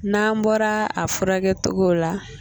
N'an bɔra a furakɛ togo la.